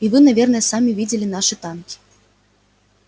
и вы наверно сами видели наши танки